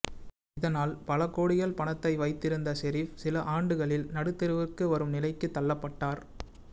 இதனால் பல கோடிகள் பணத்தை வைத்திருந்த ஷெரீப் சில ஆண்டுகளில் நடுத்தெருவுக்கு வரும் நிலைக்கு தள்ளப்பட்டார்